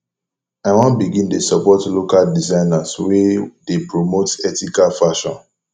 i wan begin dey support local designers wey dey promote ethical fashion